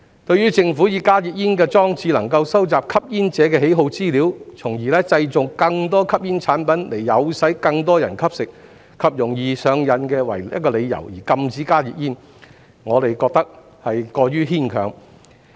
對於政府以加熱煙裝置能夠收集吸煙者的喜好資料，從而製造更多吸煙產品以誘使更多人吸食，以及容易令人上癮為由，而禁止加熱煙，我們認為過於牽強。